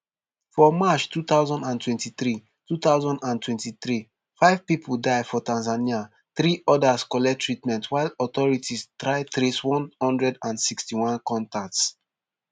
for march two thousand and twenty-three two thousand and twenty-three five pipo die for tanzania three odas collect treatment while authorities try trace one hundred and sixty-one contacts